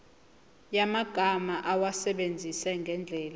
yamagama awasebenzise ngendlela